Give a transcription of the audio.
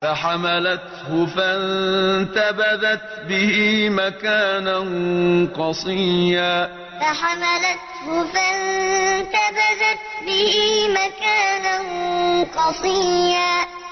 ۞ فَحَمَلَتْهُ فَانتَبَذَتْ بِهِ مَكَانًا قَصِيًّا ۞ فَحَمَلَتْهُ فَانتَبَذَتْ بِهِ مَكَانًا قَصِيًّا